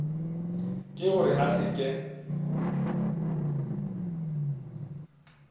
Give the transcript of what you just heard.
ke gore a se ke